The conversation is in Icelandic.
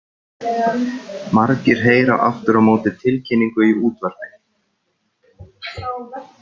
Margir heyra aftur á móti tilkynningu í útvarpi.